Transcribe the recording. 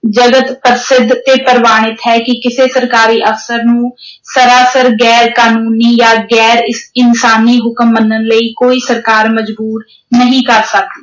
ਜਗਤ ਪ੍ਰਸਿੱਧ ਇਹ ਪ੍ਰਵਾਨਿਤ ਹੈ ਕਿ ਕਿਸੇ ਸਰਕਾਰੀ ਅਫ਼ਸਰ ਨੂੰ ਸਰਾਸਰ ਗੈਰ-ਕਾਨੂੰਨੀ ਜਾਂ ਗੈਰ ਅਹ ਇਨਸਾਨੀ ਹੁਕਮ ਮੰਨਣ ਲਈ ਕੋਈ ਸਰਕਾਰ ਮਜ਼ਬੂਰ ਨਹੀਂ ਕਰ ਸਕਦੀ।